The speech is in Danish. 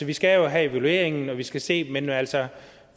vi skal jo have evalueringen og vi skal se den men altså